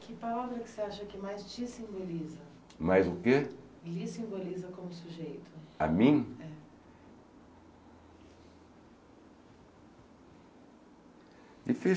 Que palavra que você acha que mais te simboliza? Mais o que? lhe simboliza como sujeito? A mim? É. Difícil